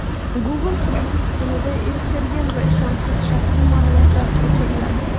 Google qidiruv tizimidan eskirgan va ishonchsiz shaxsiy ma’lumotlar o‘chiriladi.